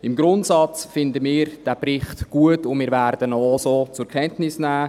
Im Grundsatz finden wir diesen Bericht gut, und wir werden ihn auch so zur Kenntnis nehmen.